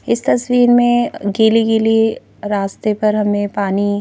इस तस्वीर में गिली-गिली रास्ते पर हमें पानी--